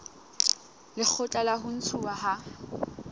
lekgotla la ho ntshuwa ha